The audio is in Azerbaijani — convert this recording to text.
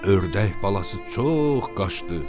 Ördək balası çox qaçdı.